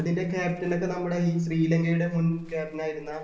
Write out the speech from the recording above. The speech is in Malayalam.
അതിൻ്റെ captain ഒക്കെ നമ്മുടെ ഈ ശ്രീലങ്കടെ മുൻ captain ആയിരുന്ന